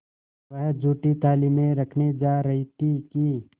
वह जूठी थाली में रखने जा रही थी कि